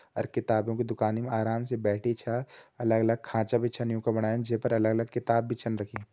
अर कितबियों की दुकानि मा आराम से बैठी छा अलग-अलग खांचा भी छन यूं क बणाया जै पर अलग-अलग किताब भी छन रखीं।